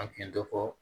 A kun ye dɔ fɔ